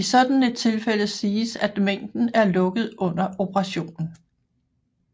I sådan et tilfælde siges at mængden er lukket under operationen